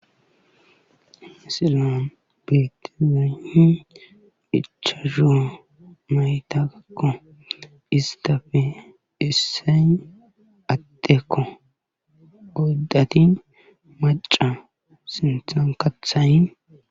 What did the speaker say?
Misiliyan beetizay ichashu naytakko istappe issoy addekko oydati macca sinththa kaththay